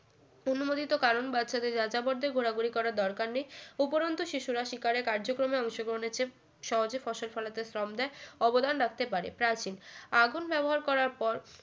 অনুমোদিত কারণ বাচ্চাদের যাযাবরদের ঘোরাঘুরি করার দরকার নেই উপরন্ত শিশুরা শিকারে কার্যক্রমে অংশগ্রহণের চেয়ে সহজে ফসল ফলাতে শ্রম দেয় অবদান রাখতে পারে প্রাচীন আগুন ব্যবহার করার পর